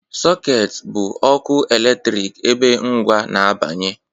Sockets bụ ọkụ eletrik ebe ngwa na-abanye